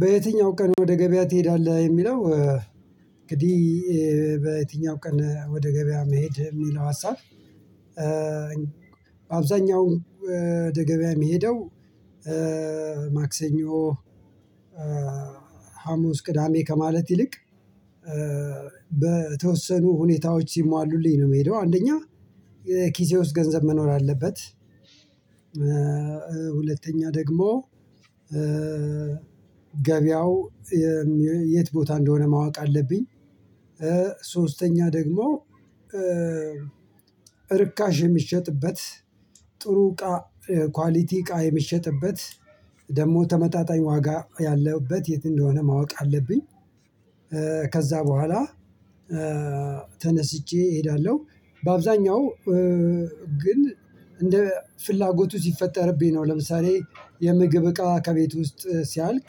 በየትኛው ቀን ወደ ገበያ ትሄዳለህ? የሚለው እንግዲህ በየትኛው ቀን ወደ ገበያ መሄድ የሚለው ሀሳብ። በአብዛኛው ወደ ገበያ የምሄደው ማክሰኞ ሀሙስ ቅዳሜ ከማለት ይልቅ በተወሰኑ ሁኔታዎች ሲሟሉልኝ ነው የምሄደው አንደኛ የኪሴ ውስጥ ገንዘብ መኖር አለበት። ሁለተኛ ደግሞ ገበያው የት ቦታ እንደሆነ ማወቅ አለብኝ። ሶስተኛ ደግሞ እርካሽ የሚሸጥበት ጥሩ እቃ ኳሊቲ እቃ የሚሸጥበት ደግሞ ተመጣጣኝ ዋጋ ያለበት የት እንደሆነ ማወቅ አለብኝ። ከዛ በኋላ ተነስቼ እሄዳለሁ በአብዛኛው ግን እንደ ፍላጎቱ ሲፈጠርብኝ ነው። ለምሳሌ የምግብ እቃ ከቤት ውስጥ ሲያልቅ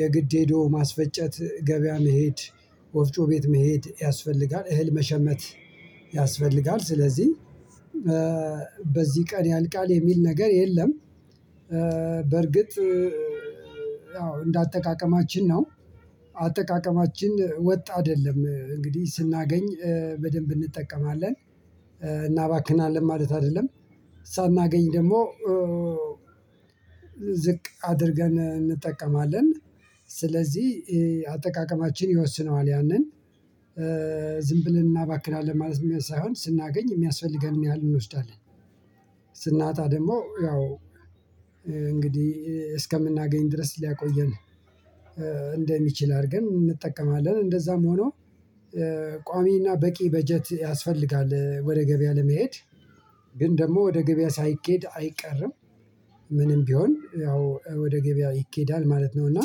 የግድ ሄዶ ማስፈጨት ገበያ መሄድ ወፍጮ ቤት መሄድ ያስፈልጋል እህል መሸመት ያስፈልጋል። ስለዚህ በዚህ ቀን ያልቃል የሚል ነገር የለም። በእርግጥ አዎ እንደ አጠቃቀማችን ነው አጠቃቀማችን ወጥ አይደለም እንግዲህ ስናገኝ በደንብ እንጠቀማለን እናባክናለን ማለት አይደለም። ሳናገኝ ደግሞ ዝቅ አድርገን እንጠቀማለን ስለዚህ አጠቃቀማችን ይወስነዋል ያንን ዝም ብለን እናባክላለን ማለትም ሳይሆን ስናገኝ የሚያስፈልገንን ያህል እንወስዳለን። ስናጣ ደግሞ ያው እንግዲህ እስከምናገኝ ድረስ ሊያቆየን እንደሚችል አድርገን እንጠቀማለን እንደዛም ሆኖ ቋሚ እና በቂ በጀት ያስፈልጋል። ወደ ገበያ ለመሄድ ግን ደግሞ ወደ ገበያ ሳይኬድ አይቀርም ምንም ቢሆን ያው ወደ ገበያ ይኬዳል ማለት ነው። እና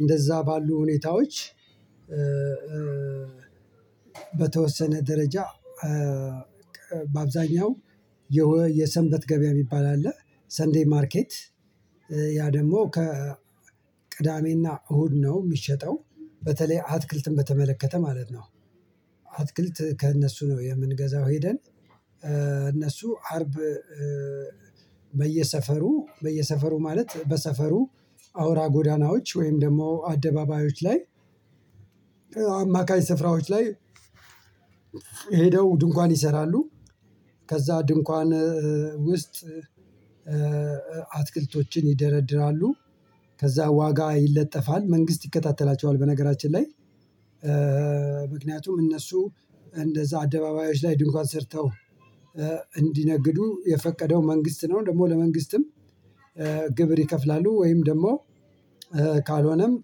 እንደዛ ባሉ ሁኔታዎች በተወሰነ ደረጃ በአብዛኛው የሰንበት ገበያ የሚባል አለ ሰንደይ ማርኬት ያ ደግሞ ከ ቅዳሜ እና እሁድ ነው የሚሸጠው በተለይ አትክልትን በተመለከተ ማለት ነው። አትክልት ከእነሱ ነው የምንገዛው ሄደን እነሱ አርብ በየሰፈሩ በየሰፈሩ ማለት በሰፈሩ አውራ ጎዳናዎች ወይም ደግሞ አደባባዮች ላይ አማካኝ ስፍራዎች ላይ ሄደው ድንኳን ይሰራሉ። ከዛ ድንኳን ውስጥ አትክልቶችን ይደረድራሉ ከዛ ዋጋ ይለጠፋል መንግስት ይከታተላቸዋል በነገራችን ላይ ምክንያቱም እነሱ እንደዛ አደባባዮች ላይ ድንኳን ሰርተው እንዲነግዱ የፈቀደው መንግስት ነው ደግሞ ለመንግስትም ግብር ይከፍላሉ። ወይም ደግሞ ካልሆነም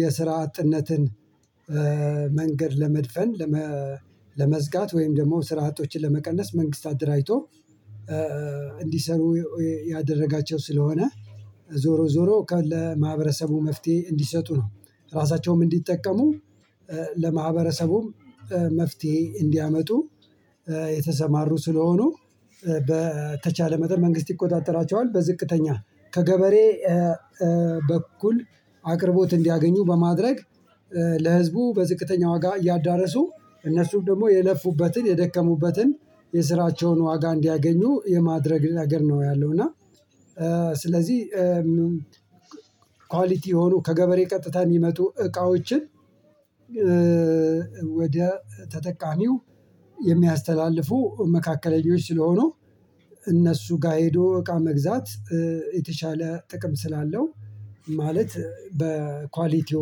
የስራ አጥነትን መንገድ ለመድፈን ለመዝጋት ወይም ደግሞ ስራ አጦችን ለመቀነስ መንግስት አደራጅቶ እንዲሰሩ ያደረጋቸው ስለሆነ ዞሮ ዞሮ ከለማህበረሰቡ መፍትሄ እንዲሰጡ ነው ራሳቸውም እንዲጠቀሙ ለማህበረሰቡም መፍትሄ እንዲያመጡ የተሰማሩ ስለሆኑ በተቻለ መጠን መንግስት ይቆጣጠራቸዋል። በዝቅተኛ ከገበሬ በእኩል አቅርቦት እንዲያገኙ በማድረግ ለህዝቡ በዝቅተኛ ዋጋ እያዳረሱ እነሱም ደግሞ የለፉበትን የደከሙበትን የስራቸውን ዋጋ እንዲያገኙ የማድረግ ነገር ነው ያለው። እና ስለዚህ ኳሊቲ የሆኑ ከገበሬ ቀጥታ የሚመጡ እቃዎችን ወደ ተጠቃሚው የሚያስተላልፉ መካከለኞች ስለሆኑ እነሱ ጋር እቃ መግዛት የተሻለ ጥቅም ስላለው ማለት በኳሊቲው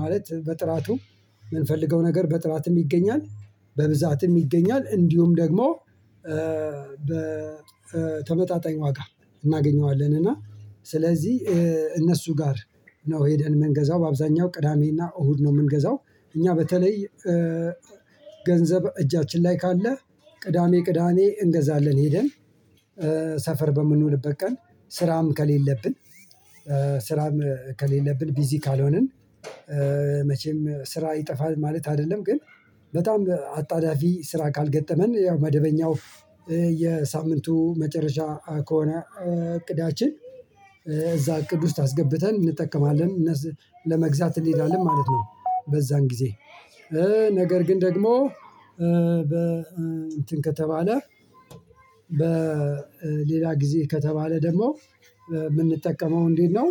ማለት በጥራቱ የምንፈልገው ነገር በጥራትም ይገኛል በብዛትም ይገኛል እንዲሁም ደግሞ በተመጣጣኝ ዋጋ እናገኘዋለን እና ስለዚህ እነሱ ጋር ነው ሄደን የምንገዛው በአብዛኛው ቅዳሜ እና እሁድ ነው የምንገዛው። እኛ በተለይ ገንዘብ እጃችን ላይ ካለ ቅዳሜ ቅዳሜ እንገዛለን ሄደን ሰፈር በምንውልበት ቀን ስራም ከሌለብን ስራም ከሌለብን ቢዚ ካልሆንን መቼም ስራ ይጠፋል ማለት አይደለም። ግን በጣም አጣዳፊ ስራ ካልገጠመን ያው መደበኛው የሳምንቱ መጨረሻ ከሆነ እቅዳችን እዛ እቅድ ውስጥ አስገብተን እንጠቀማለን ለመግዛት እንሄዳለን ማለት ነው። በዛን ጊዜ ነገር ግን ደግሞ በ እንትን ከተባለ በ በሌላ ጊዜ ከተባለ ደግሞ የምንጠቀመው እንዴት ነው?